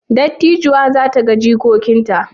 Dattijuwar za ta ga jikokinta?